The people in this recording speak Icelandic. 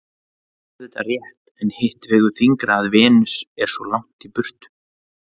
Það er auðvitað rétt en hitt vegur þyngra að Venus er svo langt í burtu.